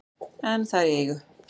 en það er í eigu